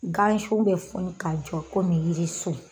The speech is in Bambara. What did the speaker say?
Gan sun bɛ funu k'a jɔ komi yiri sun!